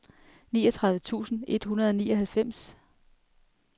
niogtredive tusind et hundrede og nioghalvfems